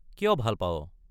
কিয় ভাল পাৱ?